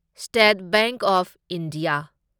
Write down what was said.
state bank of India